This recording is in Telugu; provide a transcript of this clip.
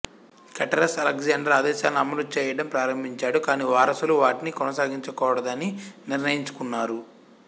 క్రేటెరస్ అలెగ్జాండర్ ఆదేశాలను అమలు చేయడం ప్రారంభించాడు కాని వారసులు వాటిని కొనసాగించకూడదని నిర్ణయించుకున్నారు